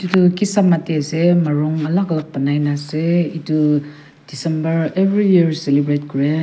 etu kisama de ase morung alak alak banai na ase etu december every year celebrate kure.